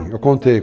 Eu contei.